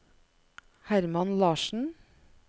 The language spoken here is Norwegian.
Hermann Larssen